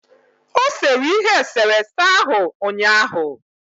O sere ihe eserese ahụ ụnyaahụ